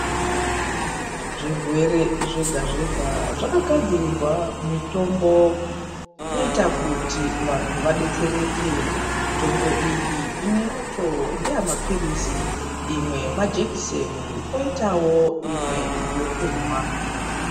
Zvirwere zvega zvega zvakagadzirirwa mitombo inoita kuti vanhu vadetsereke mitombo iyi imweyacho ndeyamapilizi imwe majekiseni poitawo imwe yekumwa.